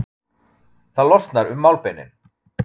Það losnar um málbeinin.